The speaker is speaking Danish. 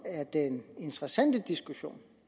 er det interessante i diskussionen